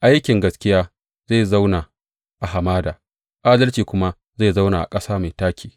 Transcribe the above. Aikin gaskiya zai zauna a hamada adalci kuma zai zauna a ƙasa mai taƙi.